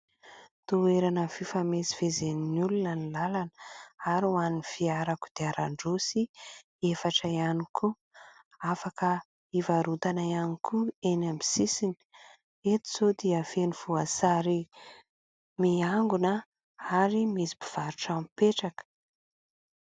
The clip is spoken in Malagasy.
Toerana fifamezivezen'ny olona ny lalana ; ary hoan'ny fiara kodiaran-droa sy efatra iany koa. Afaka hivarotana iany koa eny amin'ny sisiny : eto zao dia feno voasary miangona ary misy mpivarotra mipetraka.